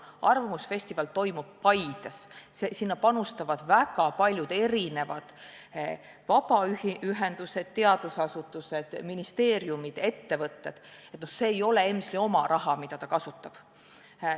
Arvamusfestival toimub Paides, sinna panustavad väga paljud erinevad vabaühendused, teadusasutused, ministeeriumid, ettevõtted, see ei ole EMSL-i oma raha, mida ta kasutab.